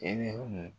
Eli